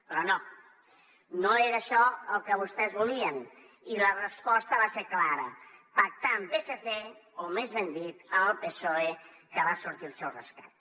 però no no era això el que vostès volien i la resposta va ser clara pactar amb psc o més ben dit amb el psoe que va sortir al seu rescat